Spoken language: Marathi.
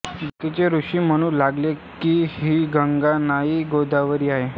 बाकीचे ऋषी म्हणू लागले की ही गंगा नाही गोदावरी आहे